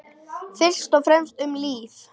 Fyrst og fremst um líf.